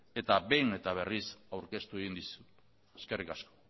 eta behin eta berriz aurkeztu egin dizut eskerrik asko